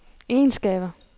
egenskaber